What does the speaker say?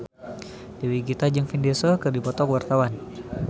Dewi Gita jeung Vin Diesel keur dipoto ku wartawan